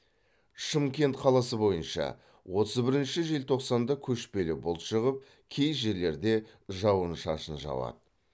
шымкент қаласы бойынша отыз бірінші желтоқсанда көшпелі бұлт шығып кей жерлерде жауын шашын жауады